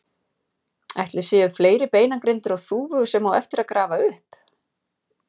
Ætli séu fleiri beinagrindur á Þúfu sem á eftir að grafa upp?